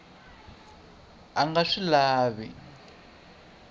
a a nga swi lavi